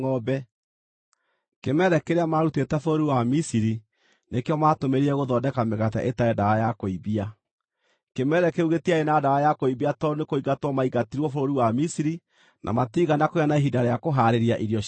Kĩmere kĩrĩa maarutĩte bũrũri wa Misiri nĩkĩo maatũmĩrire gũthondeka mĩgate ĩtarĩ ndawa ya kũimbia. Kĩmere kĩu gĩtiarĩ na ndawa ya kũimbia tondũ nĩkũingatwo maingatirwo bũrũri wa Misiri, na matiigana kũgĩa na ihinda rĩa kũhaarĩria irio ciao.